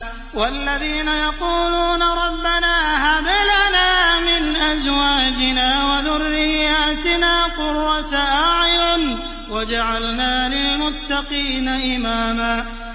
وَالَّذِينَ يَقُولُونَ رَبَّنَا هَبْ لَنَا مِنْ أَزْوَاجِنَا وَذُرِّيَّاتِنَا قُرَّةَ أَعْيُنٍ وَاجْعَلْنَا لِلْمُتَّقِينَ إِمَامًا